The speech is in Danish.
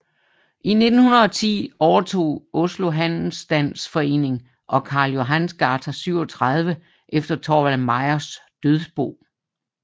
I 1910 overtog Oslo Handelsstands Forening Karl Johans gate 37 efter Thorvald Meyers dødsbo